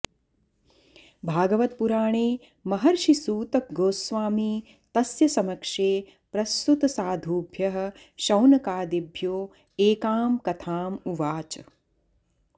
भागवतपुराणे महर्षि सूत गोस्वामी तस्य समक्षे प्रस्तुतसाधूभ्यः शौनकादिभ्यो एकां कथाम् उवाच